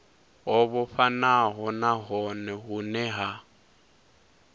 ho vhofhanaho nahone vhune ha